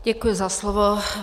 Děkuji za slovo.